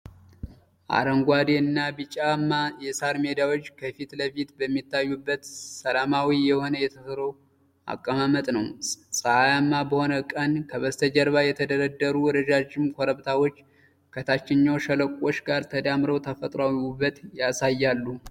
አረንጓዴ እና ቢጫማ የሳር ሜዳዎች ከፊት ለፊት በሚታዩበት፣ ሰላማዊ የሆነ የተፈጥሮ አቀማመጥ ነው። ፀሐያማ በሆነ ቀን ከበስተጀርባ የተደረደሩ ረዣዥም ኮረብታዎች ከታችኛው ሸለቆዎች ጋር ተዳምረው ተፈጥሯዊ ውበት ያሳያሉ።